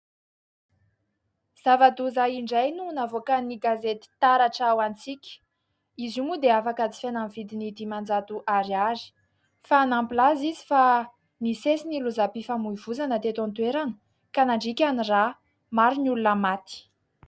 Zava-doza indray no navoakan'ny gazety taratra ho antsika, izy io moa dia afaka jifaina amin'ny vidiny dimanjato ariary; fa nampilaza izy fa nisesy ny lozam-pifamoivoizana teto an-toerana ka nandriaka ny rà maro ny olona maty.